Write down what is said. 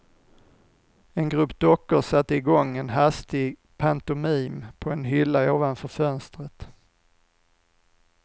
En grupp dockor satte i gång en hastig pantomim på en hylla ovanför fönstret.